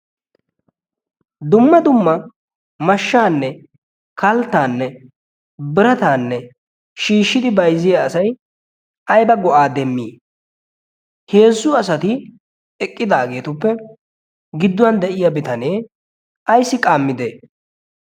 dumma dumma mashaanne kaltaa shiishidi bayzziya asay ayba go"aa immi? heezzu asati eqqidaageetuppe giduwan eqqidaage ayssi qaamidee?